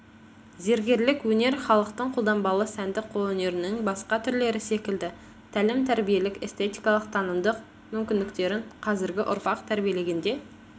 зергерлік өнер халықтың қолданбалы сәндік қолөнерінің басқа түрлері секілді тәлім-тәрбиелік эстетикалық танымдық мүмкіндіктерін қазіргі ұрпақ тәрбиелегенде